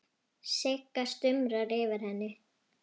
Sigga stumrar yfir henni.